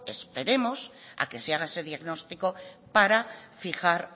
esperemos a que se haga ese diagnóstico para fijar